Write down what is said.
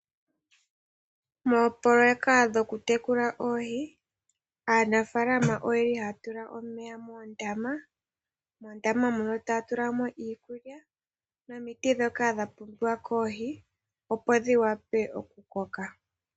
Moopoloyeka dhoku tekula oohi aanafaalama oyeli haya tula omeya moondama, moondama muno taya tula iikulya nomiti ndhoka dha pumbiwa koohi opo dhi wape okukoka.